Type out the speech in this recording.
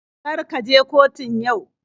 Kar ka je kotun yau.